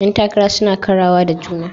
Yan takara suna karawa da juna.